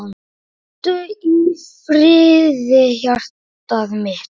Hvíldu í friði hjartað mitt.